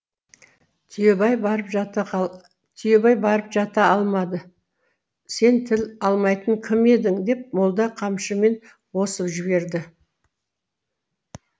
түйебай барып жата алмады сен тіл алмайтын кім едің деп молда қамшымен осып жіберді